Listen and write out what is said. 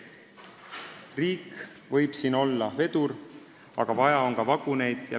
Riik võib siin olla vedur, aga vaja on ka vaguneid.